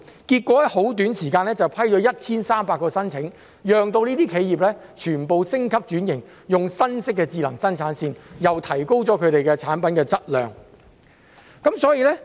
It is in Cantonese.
結果，當局在很短時間內批出了 1,300 個申請，讓這些企業全部升級轉型，用新式的智能生產線，提高了產品的質量。